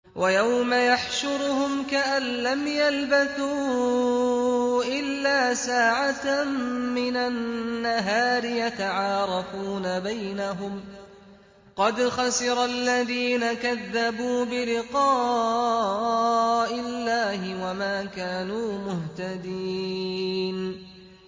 وَيَوْمَ يَحْشُرُهُمْ كَأَن لَّمْ يَلْبَثُوا إِلَّا سَاعَةً مِّنَ النَّهَارِ يَتَعَارَفُونَ بَيْنَهُمْ ۚ قَدْ خَسِرَ الَّذِينَ كَذَّبُوا بِلِقَاءِ اللَّهِ وَمَا كَانُوا مُهْتَدِينَ